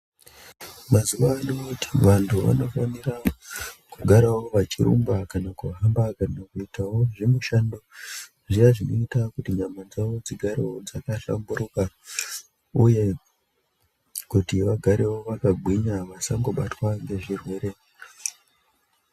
Mazuvano vantu vanofanira kugara vachirumba kana kuitawo mishando inoita kuti nyama dzawo dzigare dzakahlamburuka uyewo kuti vagare vakagwinya vasambobatwa ngezvirwere.